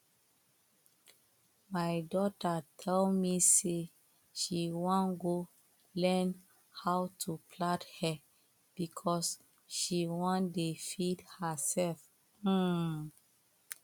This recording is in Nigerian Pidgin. my daughter tell me say she wan go learn how to plait hair because she wan dey feed herself um